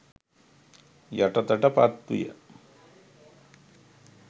යටතට පත්විය.